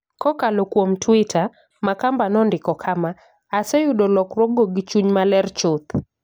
Kokalo kuom Twitter, Makamba nondiko kama: "Aseyudo lokruokgo gi chuny maler chuth.